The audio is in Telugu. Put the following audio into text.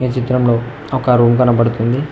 ఈ చిత్రంలో ఒక రూమ్ కనపడుతుంది.